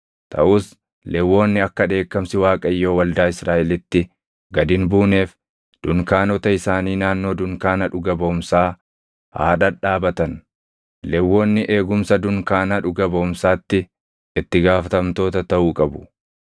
Taʼus Lewwonni akka dheekkamsi Waaqayyoo waldaa Israaʼelitti gad hin buuneef dunkaanota isaanii naannoo dunkaana dhuga baʼumsaa haa dhadhaabatan. Lewwonni eegumsa dunkaana dhuga baʼumsaatti itti gaafatamtoota taʼuu qabu.”